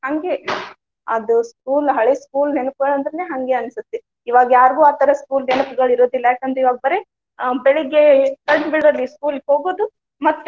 ಹಂಗೆ ಅದು school ಹಳೆ school ನೆನಪು ಅಂದ್ರೆ ಹಂಗೆ ಅನ್ಸುತ್ತೆ. ಇವಾಗ ಯಾರ್ಗು ಆ ತರಾ school ನೆನಪುಗಳು ಇರೋದಿಲ್ಲಾ ಯಾಕ ಅಂದ್ರ ಇವಾಗ್ ಬರೇ ಹ್ಮ್ ಬೆಳಿಗ್ಗೆ ಕಣ್ ಬಿಡೋದ್ರಲ್ಲಿ school ಗೆ ಹೋಗುದು ಮತ್ತೆ